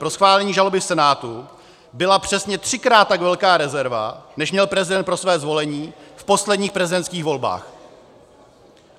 Pro schválení žaloby v Senátu byla přesně třikrát tak velká rezerva, než měl prezident pro své zvolení v posledních prezidentských volbách.